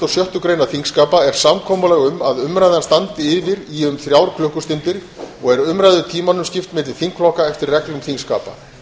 sjöttu greinar þingskapa er samkomulag um að umræðan standi yfir í um þrjár klukkustundir og er umræðu tímanum skipt milli þingflokka eftir reglum þingskapa